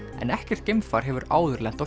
en ekkert geimfar hefur áður lent á